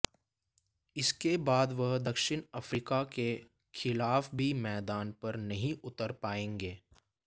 इसके बाद वह दक्षिण अफ्रीका के खिलाफ भी मैदान पर नहीं उतर पाएंगे